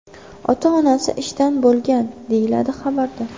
Ota-onasi ishda bo‘lgan”, deyiladi xabarda.